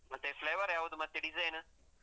ಮತ್ತೇ, flavour ಯಾವುದು ಮತ್ತೆ design ಉ?